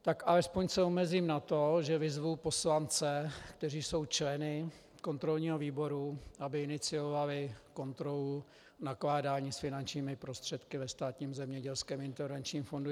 Tak alespoň se omezím na to, že vyzvu poslance, kteří jsou členy kontrolního výboru, aby iniciovali kontrolu nakládání s finančními prostředky ve Státním zemědělském intervenčním fondu.